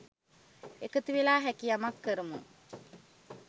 එකතු වෙලා හැකි යමක් කරමු